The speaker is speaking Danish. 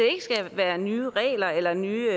skal være nye regler eller nye